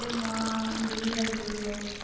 মা দিদিভাই বললো